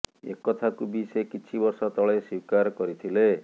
ଏକଥାକୁ ବି ସେ କିଛି ବର୍ଷ ତଳେ ସ୍ୱୀକାର କରିଥିଲେ